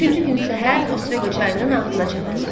Üçüncü gün səhər Osveqa çayının ağzına çatdılar.